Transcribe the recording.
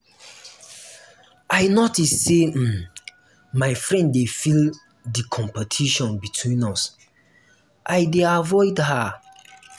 i notice say um my friend dey feel di competition between us i dey avoid her. um